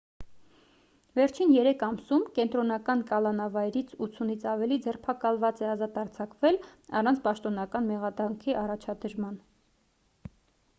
վերջին 3 ամսում կենտրոնական կալանավայրից 80-ից ավելի ձերբակալված է ազատ արձակվել առանց պաշտոնական մեղադրանքի առաջադրման